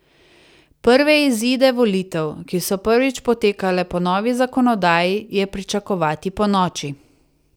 Prve izide volitev, ki so prvič potekale po novi zakonodaji, je pričakovati ponoči.